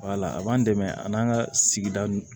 Wala a b'an dɛmɛ an'an ka sigida nun